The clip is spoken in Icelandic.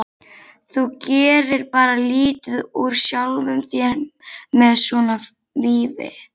Þú gerir bara lítið úr sjálfum þér með svona vífi